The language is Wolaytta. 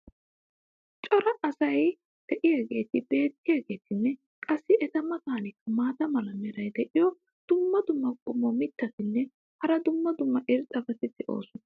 cora asay diyaageeti beetiyaageetinne qassi eta matankka maata mala meray diyo dumma dumma qommo mitattinne hara dumma dumma irxxabati de'oosona.